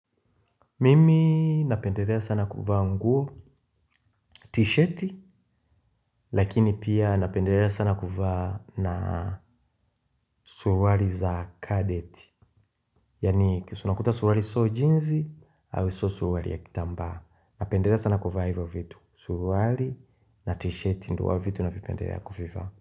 Mimi napendelea sana kuvaa nguo tishati lakini pia napendelea sana kuvaa na suruali za kadeti. Yaani unakuta suruali sio jeans au sio suruali ya kitambaa. Napendelea sana kuvaa hivo vitu, suruali na tishati ndio huwa vitu navipendelea kuvivaa.